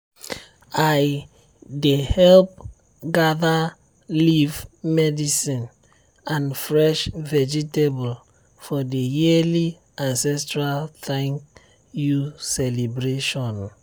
i dey help gather leaf medicine and fresh vegetable for the yearly ancestral thank-you celebration.